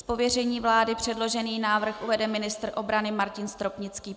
Z pověření vlády předložený návrh uvede ministr obrany Martin Stropnický.